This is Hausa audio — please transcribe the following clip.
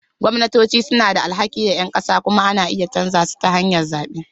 Gwamnatoci suna da alhaki ga ƴan ƙasa kuma ana iya canza su ta hanyar zaɓe.